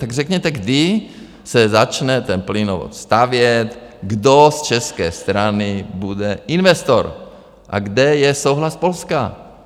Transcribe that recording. Tak řekněte, kdy se začne ten plynovod stavět, kdo z české strany bude investor a kde je souhlas Polska?